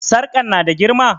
Sarƙan na da girma?